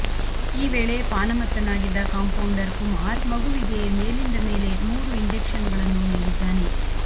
ಈ ವೇಳೆ ಪಾನಮತ್ತನಾಗಿದ್ದ ಕಾಂಪೌಂಡರ್ ಕುಮಾರ್ ಮಗುವಿಗೆ ಮೇಲಿಂದ ಮೇಲೆ ಮೂರು ಇನ್ಜೆಕ್ಷನ್ಗಳನ್ನು ನೀಡಿದ್ದಾನೆ